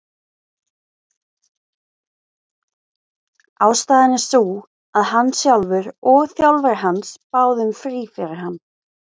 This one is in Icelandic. Ástæðan er sú að hann sjálfur og þjálfari hans báðu um frí fyrir hann.